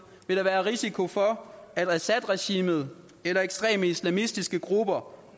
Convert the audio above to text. vil der være risiko for at assadregimet eller ekstreme islamistiske grupper